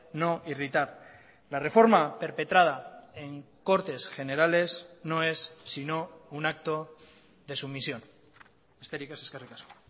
no irritar la reforma perpetrada en cortes generales no es sino un acto de sumisión besterik ez eskerrik asko